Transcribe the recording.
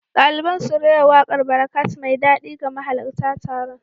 Daliban sun rera wakar Barakat mai daɗi ga mahalarta taron.